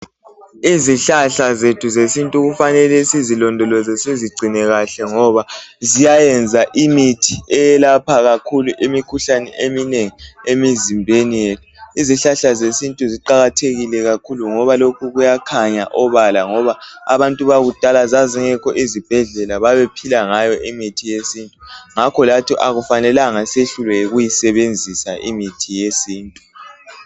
izihlahla zethu zesintu kufanele sizilondoloze sizigcine kahle ngoba ziyayenza imithi eyelapha kakhulu imikhuhlane eminengi emizimbeni yeth izihlahla zesintu ziqakathekile kakhulu ngoba lokhu kuyakhanya obala ngoba abantu bakudala zazingekho izibhedlela babephila ngayo imithi yesintu ngakho lathi akumelanga siyehlulwe yikuyisebenzisa imithi yesintu